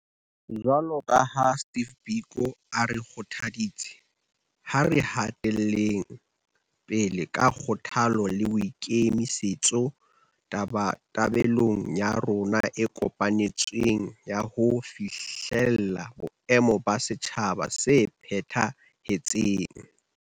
Jwalo ka ha Steve Biko a re kgothaditse, ha re hateleng pele ka kgothalo le boikemi-setso tabatabelong ya rona e kopanetsweng ya ho fihlella boemo ba setjhaba se phetha-hetseng.